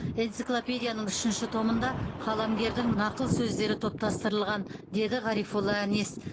энциклопедияның үшінші томында қаламгердің нақыл сөздері топтастырылған деді ғарифолла әнес